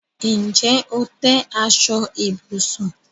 Ǹjẹ́ o tẹ̀ aṣọ ibùsùn?